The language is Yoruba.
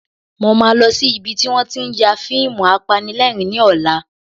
Mo máa lọ sí ibi tí wọ́n tí ń ya fíìmù apanilẹ́rìn-ín ní ọ̀la